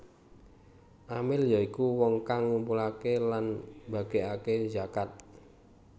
Amil ya iku wong kang ngumpulaké lan mbagèkaké zakat